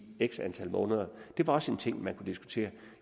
x antal måneder det var også en ting man kunne diskutere